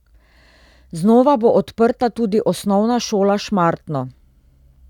Znova bo odprta tudi osnovna šola Šmartno.